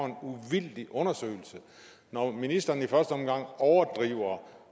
en uvildig undersøgelse når ministeren i første omgang overdriver